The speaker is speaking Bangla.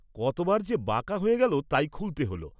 কতবার যে বাঁকা হয়ে গেল তাই খুল্‌তে হোলো।